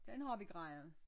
Den har vi grejet